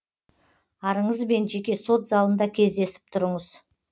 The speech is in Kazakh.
арыңызбен жеке сот залында кездесіп тұрыңыз